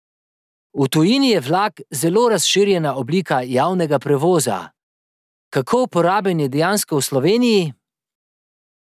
V tujini je vlak zelo razširjena oblika javnega prevoza, kako uporaben je dejansko v Sloveniji?